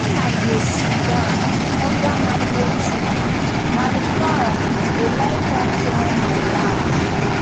when i dey siddon under mango tree my fowl dey like come climb my lap.